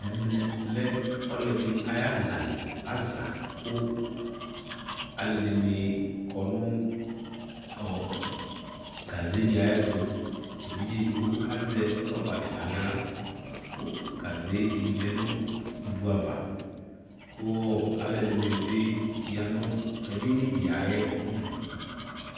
Ɛmɛ lɛ ɔlɛde aya zali Aza ko alɛde ne kɔ no ɔɔ gaze de ayeto evidze edigbo azɛ rɔba de nahla ko gazɛ de lɛ no ivu ava ko ɛlɛde ne be ya niɛo edini de ayidu